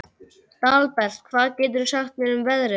Dalbert, hvað geturðu sagt mér um veðrið?